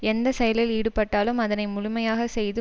எந்த செயலில் ஈடுபட்டாலும் அதனை முழுமையாகச் செய்து